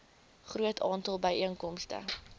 groot aantal byeenkomste